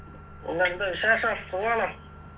എന്തുണ്ട് വിശേഷം സുഖാണോ